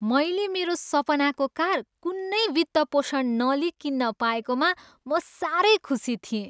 मैले मेरो सपनाको कार कुनै वित्तपोषण नलिइ किन्न पाएकोमा म साह्रै खुसी थिएँ।